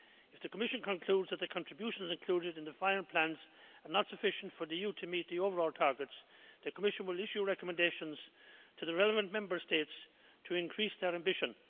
If the Commission concludes that the contributions included in the final plans are not sufficient for the EU to meet the overall targets, the Commission will issue recommendations to the relevant Member States to increase their ambition.